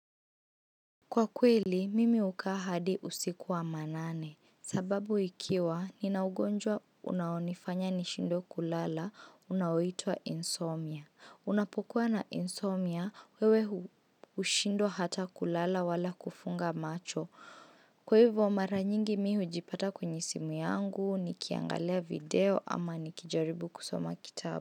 Kwa kweli, mimi hukaa hadi usiku wa manane. Sababu ikiwa, nina ugonjwa unaonifanya nishindwe kulala, unaoitwa insomnia. Unapokuwa na insomnia, wewe hushindwa hata kulala wala kufunga macho. Kwa hivyo, mara nyingi mimi hujipata kwenye simu yangu, nikiangalia video ama nikijaribu kusoma kitabu.